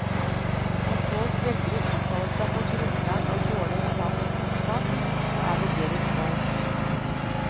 Om folk velger å uttale seg på grunnlag av dårlig sakkunnskap, så er det deres valg.